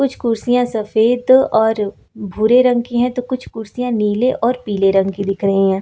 कुछ कुर्सियां सफेद और भूरे रंग की है तो कुछ कुर्सियां नीले और पीले रंग की दिख रही है।